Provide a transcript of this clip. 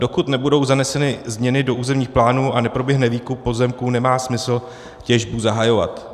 Dokud nebudou zaneseny změny do územních plánů a neproběhne výkup pozemků, nemá smysl těžbu zahajovat.